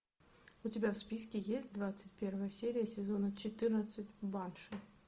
у тебя в списке есть двадцать первая серия сезона четырнадцать банши